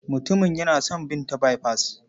Mutumin yana son bin ta baifas.